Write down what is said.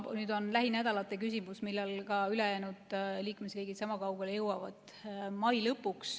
Nüüd on lähinädalate küsimus, millal ülejäänud liikmesriigid sama kaugele jõuavad.